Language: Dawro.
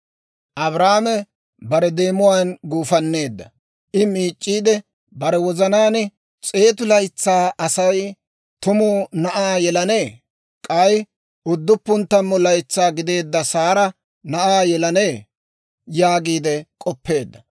Abrahaame bare deemuwaan guufanneedda; I miic'c'iide bare wozanaan, «S'eetu laytsaa Asay tumu na'aa yelanee? K'ay udduppun tammu laytsaa gideedda Saara na'aa yelanee?» yaagiide k'oppeedda.